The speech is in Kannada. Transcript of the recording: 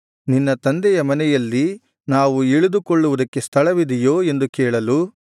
ನಿನ್ನ ತಂದೆಯ ಮನೆಯಲ್ಲಿ ನಾವು ಇಳಿದು ಕೊಳ್ಳುವುದಕ್ಕೆ ಸ್ಥಳವಿದೆಯೋ ಎಂದು ಕೇಳಲು